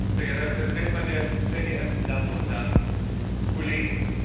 Herr Präsident, meine sehr geehrten Damen und Herren Kollegen!